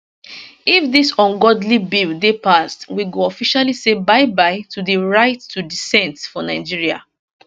if dis ungodly bill dey passed we go officially say byebye to di right to dissent for nigeria